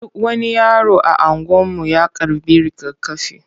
Duk wani yaro a anguwan mu ya karɓi rigakafi.